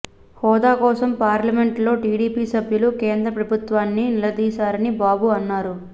హోదా కోసం పార్లమెంటులో టీడీపీ సభ్యులు కేంద్ర ప్రభుత్వాన్ని నిలదీశారని బాబు అన్నారు